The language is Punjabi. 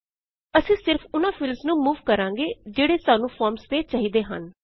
ਅਸੀਂ ਸਿਰਫ ਉਨਾਂ ਫੀਲਡਸ ਨੂੰ ਮੂਵ ਕਰਾਂਗੇ ਜਿਹੜੇ ਸਾਨੂੰ ਫੋਰਮਸ ਤੇ ਚਾਹੀਦੇ ਹਨ